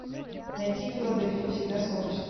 найти в филадельфии всегда солнечно